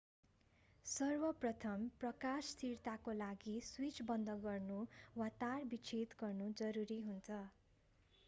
सर्वप्रथम प्रकाश स्थिरताको लागि स्विच बन्द गर्नु वा तार विच्छेद गर्नु जरुरी हुन्छ